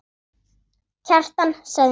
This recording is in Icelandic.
Kjartan sagði nafn sitt.